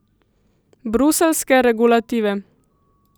Bruseljske regulative.